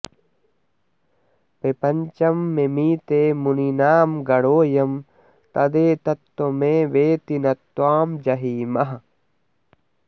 प्रपञ्चं मिमीते मुनीनां गणोऽयं तदेतत्त्वमेवेति न त्वां जहीमः